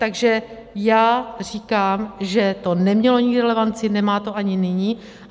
Takže já říkám, že to nemělo nikdy relevanci, nemá to ani nyní.